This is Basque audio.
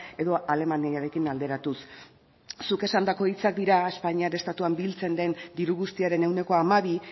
edo alemaniarekin alderatuz zuk esandako hitzak dira espainiar estatuan biltzen den diru guztiaren ehuneko hamabi